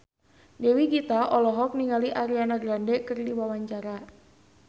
Dewi Gita olohok ningali Ariana Grande keur diwawancara